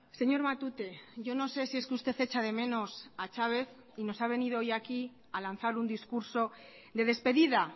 señor matute yo no sé si es que usted echa de menos a chávez y nos ha venido hoy aquí a lanzar un discurso de despedida